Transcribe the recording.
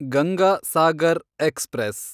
Ganga Sagar express